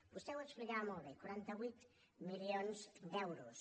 vostè ho explicava molt bé quaranta vuit milions d’euros